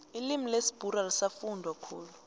ilimi lesibhuru alisafundwa khulu